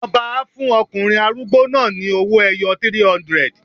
Ọba á fún ọkùnrin arúgbó náà ni owó-ẹyọ 300.